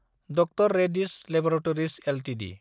द्र Reddy's laboratories Ltd